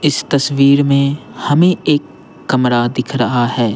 इस तस्वीर में हमें एक कमरा दिख रहा है।